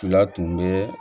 Fila tun bɛ